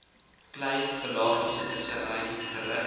klein pelagiesevissery gerig